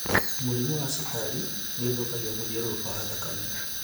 Mũrimũ wa cukari nĩũthũkagia mũthiũrũrũko wa thakame